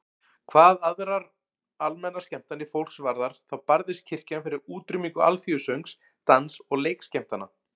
Hvað aðrar almennar skemmtanir fólks varðar þá barðist kirkjan fyrir útrýmingu alþýðusöngs, dans- og leikskemmtana.